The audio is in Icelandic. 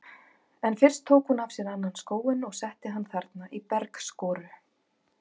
En fyrst tók hún af sér annan skóinn og setti hann þarna í bergskoru.